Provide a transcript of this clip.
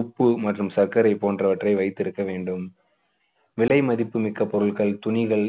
உப்பு மற்றும் சர்க்கரை போன்றவற்றை வைத்திருக்க வேண்டும். விலை மதிப்பு மிக்க பொருட்கள், துணிகள்,